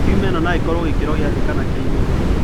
Tiuma ĩno no ĩkorũo gĩkĩro kĩa thĩ kana kĩa igũrũ.